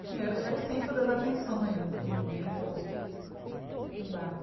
Enfim, era era o centro das atenções, assim, dentro do barco.